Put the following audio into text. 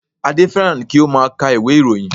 Adé fẹ́ràn kí ó má a ka ìwé ìròyìn